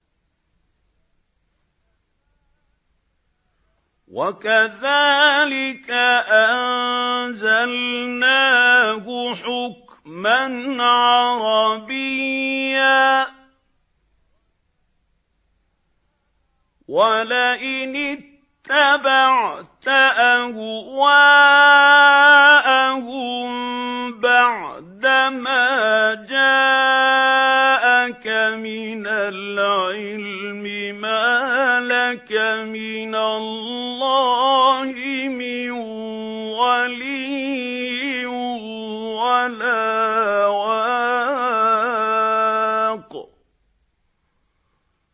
وَكَذَٰلِكَ أَنزَلْنَاهُ حُكْمًا عَرَبِيًّا ۚ وَلَئِنِ اتَّبَعْتَ أَهْوَاءَهُم بَعْدَمَا جَاءَكَ مِنَ الْعِلْمِ مَا لَكَ مِنَ اللَّهِ مِن وَلِيٍّ وَلَا وَاقٍ